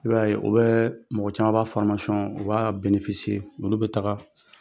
I b'a ye u bɛɛ mɔgɔ caman b'a u b'aa olu bɛ taga.